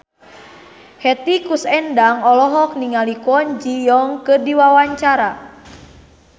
Hetty Koes Endang olohok ningali Kwon Ji Yong keur diwawancara